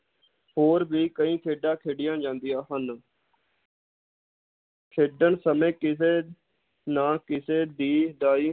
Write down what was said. ਹੋਰ ਵੀ ਕਈ ਖੇਡਾਂ ਖੇਡੀਆਂ ਜਾਂਦੀਆਂ ਹਨ ਖੇਡਣ ਸਮੇ ਕਿਸੇ ਨਾ ਕਿਸੇ ਦੀ ਦਾਈ,